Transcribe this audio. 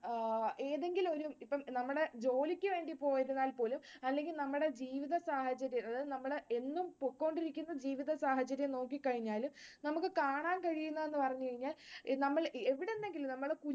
ആഹ് ഏതെങ്കിലുമൊരു ഇപ്പൊ നമ്മുടെ ജോലിക്ക് വേണ്ടി പോയിരുന്നാൽപോലും അല്ലെങ്കിൽ നമ്മുടെ ജീവിതസാഹചര്യം അതായതു നമ്മൾ എന്നും പോയ്കൊണ്ടിരിക്കുന്ന ജീവിതസാഹചര്യം നോക്കിക്കഴിഞ്ഞാലും നമുക്ക് കാണാൻ കഴിയുന്നതെന്ന് പറഞ്ഞു കഴിഞ്ഞാൽ നമ്മൾ എവിടെന്നെങ്കിലും നമ്മൾ